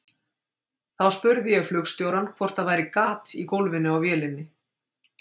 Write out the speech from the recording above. Þá spurði ég flugstjórann hvort það væri gat í gólfinu á vélinni.